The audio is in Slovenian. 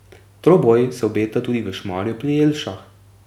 Troboj se obeta tudi v Šmarju pri Jelšah.